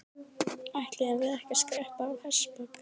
Ætluðum við ekki að skreppa á hestbak?